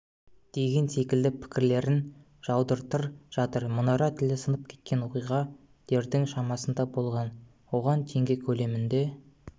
деген секілді пікірлерін жаудыртыр жатыр мұнара тілі сынып кеткен оқиға дердің шамасында болған оған теңге көлемінде